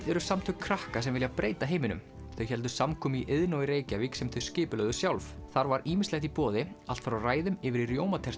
eru samtök krakka sem vilja breyta heiminum þau héldu samkomu í Iðnó í Reykjavík sem þau skipulögðu sjálf þar var ýmislegt í boði allt frá ræðum yfir í